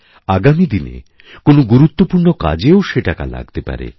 আগামী দিনে কোনও গুরুত্বপূর্ণ কাজেও সে টাকা লাগতে পারে